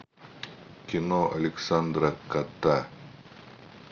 кино александра кота